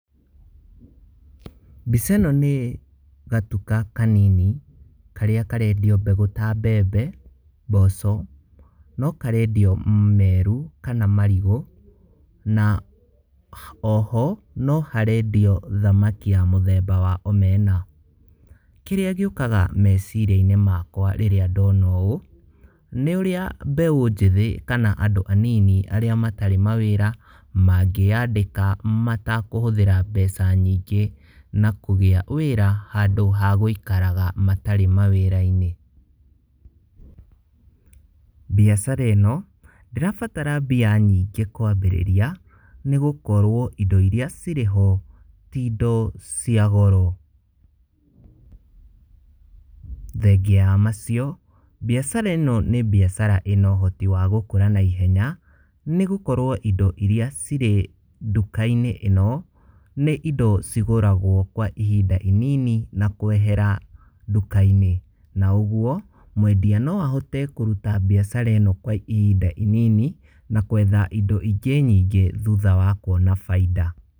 Mbica ĩno nĩ gatuka kanini, karĩa karendio mbegũ ta mbembe, mboco, no karendio meru, kana marigũ, na oho, no harendio thamaki ya mũthemba wa omena. Kĩrĩa gĩũkaga meciriainĩ makwa rĩrĩa ndona ũũ, nĩ ũrĩa mbeũ njĩthĩ kana andũ anini, arĩa matarĩ mawĩra, mangĩyandĩka matakũhũthĩra mbeca nyingĩ, na kũgĩa wĩra handũ ha gũikaraga matarĩ matarĩ mawĩrainĩ. Biacara ĩno, ndĩrabatara mbia nyingĩ kwambĩrĩria, nĩgũkorwo indo iria cirĩ ho, ti indo ciagoro. Thengia ya macio, biacara ĩno nĩ bĩacara ĩna ũhoti wa gũkũra na ihenya, nĩgũkorwo indo iria cirĩ ndukainĩ ĩno, nĩ ĩndo cigũragwo kwa ihinda inini, na kwehera ndũkainĩ. Na ũgũo, mwendia no ahote kũruta biacara ĩno kwa ihinda inini, na kwetha indo ingĩ nyingĩ thutha wa kuona bainda.